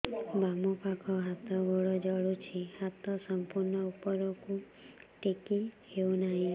ବାମପାଖ ହାତ ଗୋଡ଼ ଜଳୁଛି ହାତ ସଂପୂର୍ଣ୍ଣ ଉପରକୁ ଟେକି ହେଉନାହିଁ